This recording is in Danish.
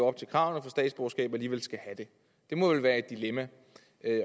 op til kravene for statsborgerskab alligevel skal have det det må vel være et dilemma